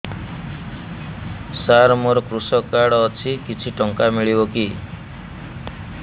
ସାର ମୋର୍ କୃଷକ କାର୍ଡ ଅଛି କିଛି ଟଙ୍କା ମିଳିବ କି